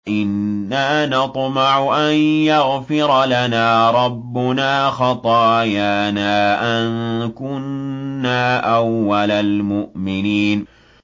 إِنَّا نَطْمَعُ أَن يَغْفِرَ لَنَا رَبُّنَا خَطَايَانَا أَن كُنَّا أَوَّلَ الْمُؤْمِنِينَ